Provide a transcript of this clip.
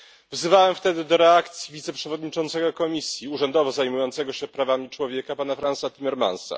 Wzywałem wtedy do reakcji wiceprzewodniczącego Komisji, urzędowo zajmującego się prawami człowieka, pana Fransa Timmermansa.